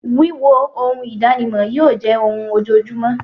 Wííwo oun ìdánimọ̀ yíò jẹ́ oun ojojúmọ́